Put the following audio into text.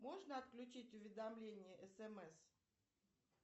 можно отключить уведомления смс